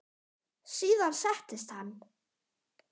Síðan settist hann.